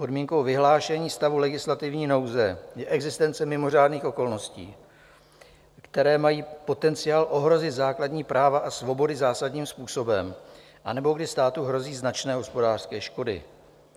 Podmínkou vyhlášení stavu legislativní nouze je existence mimořádných okolností, které mají potenciál ohrozit základní práva a svobody zásadním způsobem, anebo když státu hrozí značné hospodářské škody.